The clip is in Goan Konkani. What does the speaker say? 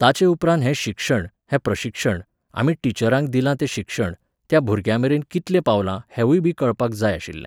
ताचेउपरांत हें शिक्षण, हें प्रशिक्षण, आमी टिचरांक दिलां तें शिक्षण, त्या भुरग्यांमेरेन कितलें पावलां हेंवूयबी कळपाक जाय आशिल्लें